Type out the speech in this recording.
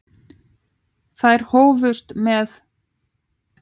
Þær hófust með